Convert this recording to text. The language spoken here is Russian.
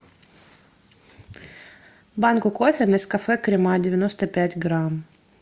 банку кофе нескафе крема девяносто пять грамм